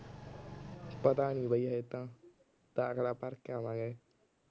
ਪਤਾ ਨੀ ਬਾਈ ਹਾਲੇ ਤਾਂ। ਦਾਖਲਾ ਭਰ ਕੇ ਆਵਾਂਗੇ।